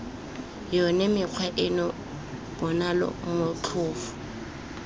yone mekgwa eno bonale motlhofo